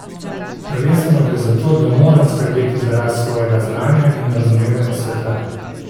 Prvenstveno gre za to, da moram skrbeti za rast svojega znanja in razumevanja sveta.